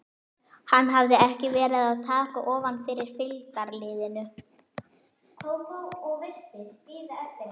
Hann hafði ekki verið að taka ofan fyrir fylgdarliðinu.